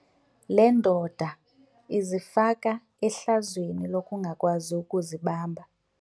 Le ndoda izifake ehlazweni lokungakwazi ukuzibamba.